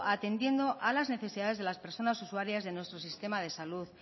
atendiendo a las necesidades de las personas usuarios de nuestro sistema de salud